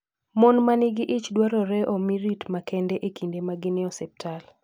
Mon man gi ich dwarore omi rit makende e kinde ma gin e osiptal.